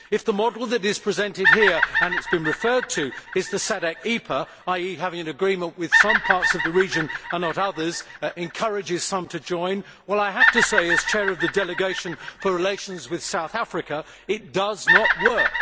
If the model that is presented here and it has been referred to is the SADC EPA, that is having an agreement with some parts of the region and not others, encouraging some to join, well I have to say, as Chair of the Delegation for Relations with South Africa, that it does not work.